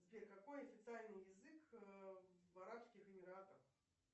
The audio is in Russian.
сбер какой официальный язык в арабских эмиратах